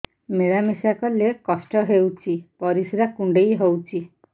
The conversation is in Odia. ମିଳା ମିଶା କଲେ କଷ୍ଟ ହେଉଚି ପରିସ୍ରା କୁଣ୍ଡେଇ ହଉଚି